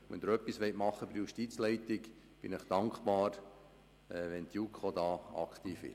Wenn Sie etwas bei der Justizleitung tun wollen, bin ich Ihnen dankbar, wenn die JuKo hier aktiv wird.